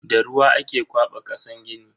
Da ruwa ake kwaba kasan gini.